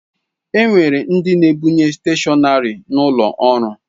E nwere ndị na-ebunye steshọnarị n'ụlọ ọrụ.